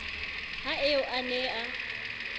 ha eo a ne a